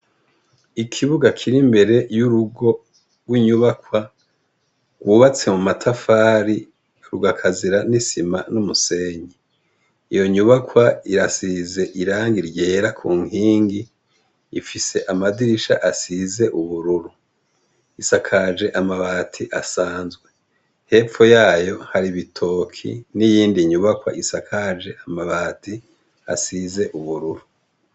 Ikibuga kirimberere yurugo rwinyubakwa gubatse mumatafari rukagasira nisima numusenyi iyonyubakwa irasize irangi ryera kunkingi ifise amadirisha asize ubururu risakaje amabati asanzwe hepfo yayo hari ibitoke niyindi nyubakwa isakaje amabati asize ubururu